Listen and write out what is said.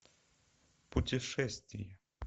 путешествия